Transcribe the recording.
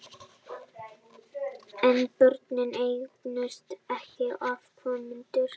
En börnin eignuðust ekki afkomendur.